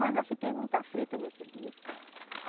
Mas eu fiquei muito aflita nesse dia.